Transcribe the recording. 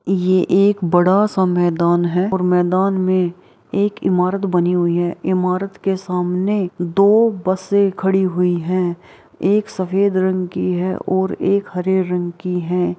ये एक बड़ा सा मैदान है और मैदान में एक ईमारत बनी हुई है। ईमारत के सामने दो बसें खड़ी हुई हैं। एक सफ़ेद रंग की है और एक हरे रंग की है।